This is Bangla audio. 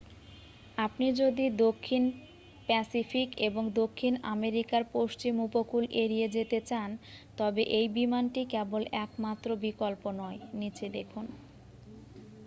আপনি যদি দক্ষিণ প্যাসিফিক এবং দক্ষিণ আমেরিকার পশ্চিম উপকূল এড়িয়ে যেতে চান তবে এই বিমানটি কেবল একমাত্র বিকল্প নয়। নিচে দেখুন